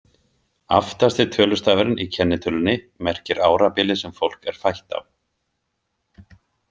Aftasti tölustafurinn í kennitölunni merkir árabilið sem fólk er fætt á.